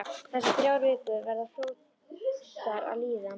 Þessar þrjár vikur verða fljótar að líða.